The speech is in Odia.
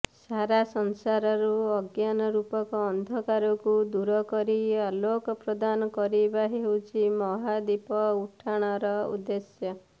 ସାରା ସଂସାରରୁ ଅଜ୍ଞାନ ରୂପକ ଅନ୍ଧକାରକୁ ଦୂର କରି ଆଲୋକ ପ୍ରଦାନ କରିବା ହେଉଛି ମହାଦୀପ ଉଠାଣର ଉଦ୍ଦେଶ୍ୟ